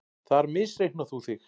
Þar misreiknar þú þig.